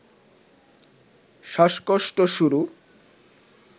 শ্বাসকষ্ট শুরু